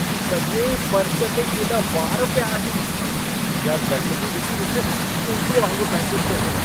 सॼे फर्श ते केॾा वार पिया आहिनि। इहा गंदगी ॾिसी मूंखे उल्टीअ वांगुर महसूसु थो थिए।